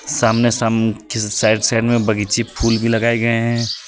सामने समूह किसी साइड साइड में बगीचे फूल भी लगाए गए हैं।